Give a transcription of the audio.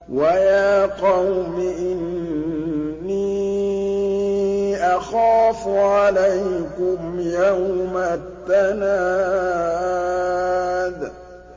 وَيَا قَوْمِ إِنِّي أَخَافُ عَلَيْكُمْ يَوْمَ التَّنَادِ